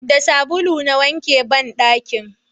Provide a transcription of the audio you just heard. da sabulu na wanke banɗaki